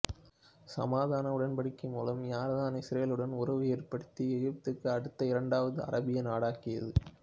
சமாதான உடன்படிக்கை மூலம் யோர்தான் இசுரேலுடன் உறவு ஏற்படுத்திய எகிப்துக்கு அடுத்த இரண்டாவது அராபிய நாடாகியது